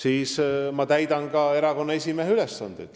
Mina täidan ka erakonna esimehe ülesandeid.